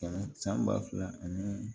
Kɛmɛ san ba fila ani